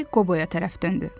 Bembi Qoboya tərəf döndü.